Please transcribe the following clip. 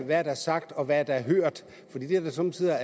der er sagt og hvad der er hørt fordi det somme tider